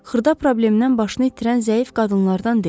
Xırda problemdən başını itirən zəif qadınlardan deyil.